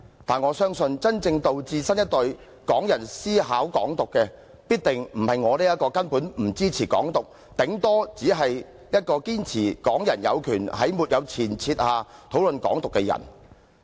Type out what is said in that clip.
但是，我相信真正導致新一代港人思考"港獨"的，必定不是我這個根本不支持"港獨"，頂多只是一個堅持港人有權在沒有前設下討論"港獨"的人。